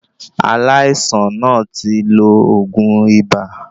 Aláìsàn náà tí lo oògùn ibà